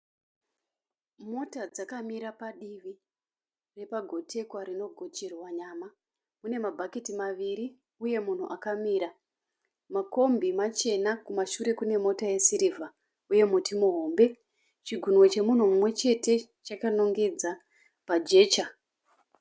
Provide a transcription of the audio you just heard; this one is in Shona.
Mota dzakamira padivi repagotekwa rinogocherwa nyama. Mune mabhaketi maviri uye munhu akamira. Makombi machena, kumashure kune mota yesirivha uye muti muhombe. Chigunwe chemunhu mumwechete chakanongedza pajecha.